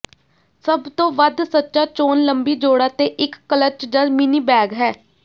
ਸਭ ਤੋਂ ਵੱਧ ਸੱਚਾ ਚੋਣ ਲੰਬੀ ਜੋੜਾ ਤੇ ਇੱਕ ਕਲਚ ਜਾਂ ਮਿੰਨੀ ਬੈਗ ਹੈ